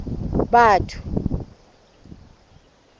batho